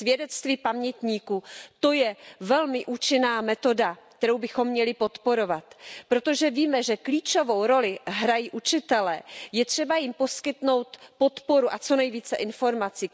Svědectví pamětníků, to je velmi účinná metoda, kterou bychom měli podporovat, protože víme, že klíčovou roli hrají učitelé, je třeba jim poskytnout podporu a co nejvíce informací.